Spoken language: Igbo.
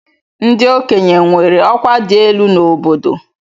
Ndị okenye nwere ọkwa dị elu n'obodo.